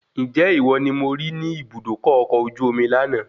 Ǹjẹ́ ìwọ ni mo rí ní Ibùdókọ̀ ọkọ̀ ojú omi lànà